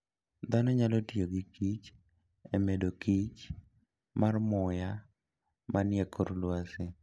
Dhano nyalo tiyo gi kich e medokichr mar muya manie kor lwasi.